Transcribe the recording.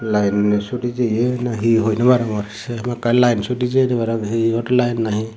line sudey jiye na he hoi no parongor sey hamakkai line sudey jeye para pangey heyour line na he.